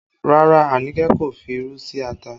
Rárá, Anike kò fi irú sí ata